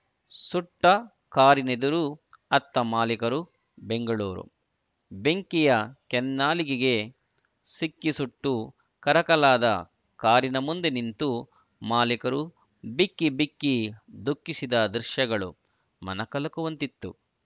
ಸುಟ್ಟಕಾರಿನೆದುರು ಅತ್ತ ಮಾಲೀಕರು ಬೆಂಗಳೂರು ಬೆಂಕಿಯ ಕೆನ್ನಾಲಿಗೆಗೆ ಸಿಕ್ಕಿ ಸುಟ್ಟು ಕರಕಲಾದ ಕಾರಿನ ಮುಂದೆ ನಿಂತು ಮಾಲೀಕರು ಬಿಕ್ಕಿ ಬಿಕ್ಕಿ ದುಃಖಿಸಿದ ದೃಶ್ಯಗಳು ಮನಕಲಕುವಂತಿತ್ತು